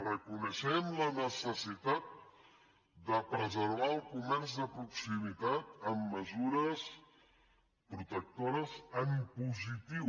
reconeixem la necessitat de preservar el comerç de proximitat amb mesures protectores en positiu